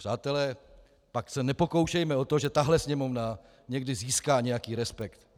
Přátelé, pak se nepokoušejme o to, že tahle Sněmovna někdy získá nějaký respekt.